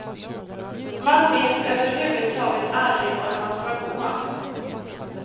Man vet överhuvudtaget aldrig var man ska gå.